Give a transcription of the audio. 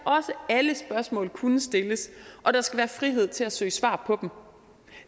alle spørgsmål også kunne stilles og der skal være frihed til at søge svar på